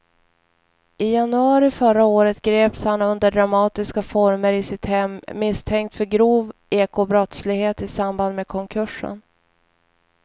I januari förra året greps han under dramatiska former i sitt hem misstänkt för grov ekobrottslighet i samband med konkursen.